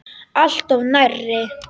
Alltof nærri.